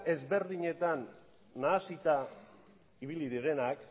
ezberdinetan nahasita ibili direnak